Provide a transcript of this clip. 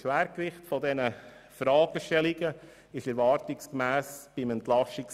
Das Schwergewicht dieser Fragen betraf erwartungsgemäss das EP 2018.